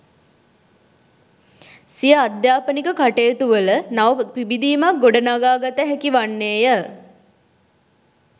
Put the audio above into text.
සිය අධ්‍යාපනික කටයුතුවල නව පිබිදීමක් ගොඩනගා ගත හැකිවන්නේය